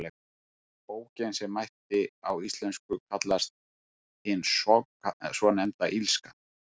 Bókin, sem mætti á íslensku kallast Hin svonefnda illska.